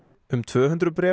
um tvö hundruð